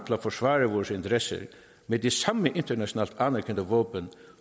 at forsvare vores interesser med de samme internationalt anerkendte våben